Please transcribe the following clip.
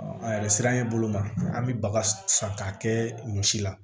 An yɛrɛ sera an ye bolo ma an bɛ baga san k'a kɛ ɲɔ si la